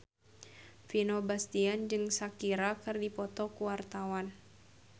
Vino Bastian jeung Shakira keur dipoto ku wartawan